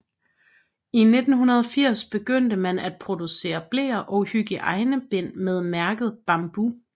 I 1980 begyndte man at producere bleer og hygiejnebind med mærket Bambo